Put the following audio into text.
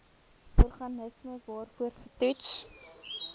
organisme waarvoor getoets